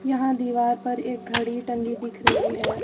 यहां दीवार पर एक घड़ी टंगी दिख रही है।